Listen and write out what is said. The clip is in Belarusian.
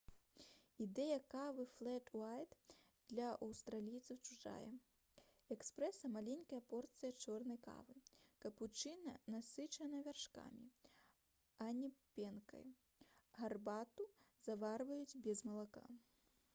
ідэя кавы «флэт уайт» для аўстралійцаў чужая. эспрэса — маленькая порцыя чорнай кавы капучына насычана вяршкамі а не пенкай гарбату заварваюць без малака